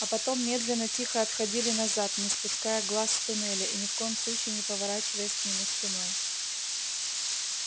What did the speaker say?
а потом медленно тихо отходили назад не спуская глаз с туннеля и ни в коем случае не поворачиваясь к нему спиной